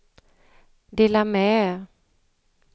dela med